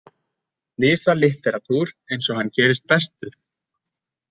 Slysalitteratúr eins og hann gerist bestur!